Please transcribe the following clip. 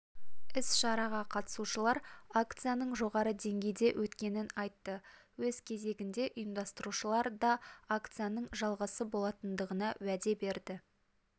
іс-шараға қатысушылар акцияның жоғары деңгейде өткенін айтты өз кезегінде ұйымдастырушылар да акцияның жалғасы болатындығына уәде берді